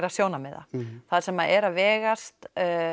sjónarmiða þar sem er að vegast